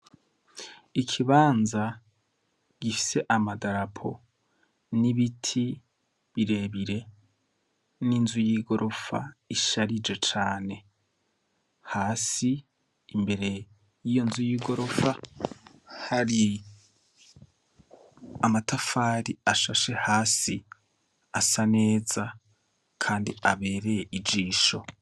Ikibanza gifise amadarapo n’ibiti birebire n’inzu yigorofa isharije cane, hasi imbere yiyo nzu y’igorofa hari amatafari ashashe hasi asa neza Kandi abereye ijisho.